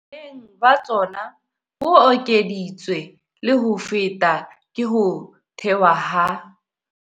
Boleng ba tsona bo ekeditswe le ho feta ke ho thewa ha.